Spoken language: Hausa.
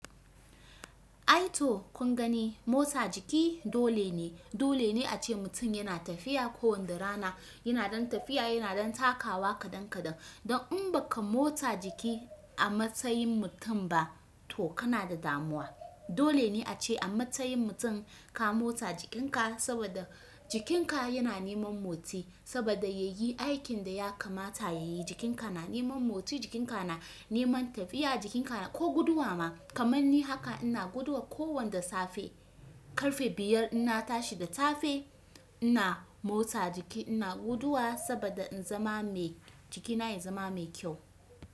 Aito kun gani motsa jiki dole ne. Dole ne ace mutum yana tafiya kowanda rana, yana dan tafiya, yana dan takawa kadan kadan. Don in baka motsa jiki a matsayin mutum ba to kana da damuwa. Dole ne ace a matsayin mutum ka motsa jikinka saboda jikinka yana neman motsi saboda yayi aikin da ya kamata yayi. Jikinka na neman motsi, jikinka na neman tafiya, jikinka na ko guduwa ma. Kamanni haka ina guduwa ko wanda safe. Karfe biyar ina tashi da safe ina motsa jiki, ina guduwa saboda in zama mai jikina ya zama mai kyau.